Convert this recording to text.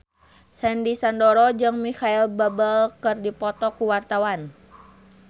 Sandy Sandoro jeung Micheal Bubble keur dipoto ku wartawan